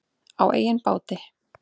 Á eigin báti.